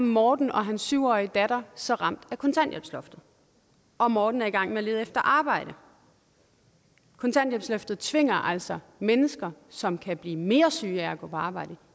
morten og hans syv årige datter så ramt af kontanthjælpsloftet og morten er i gang med at lede efter arbejde kontanthjælpsloftet tvinger altså mennesker som kan blive mere syge af at gå på arbejde